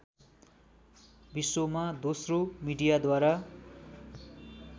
विश्वमा दोस्रो मिडियाद्वारा